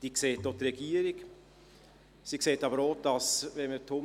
Diese sieht auch die Regierung.